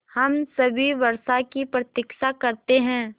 हम सभी वर्षा की प्रतीक्षा करते हैं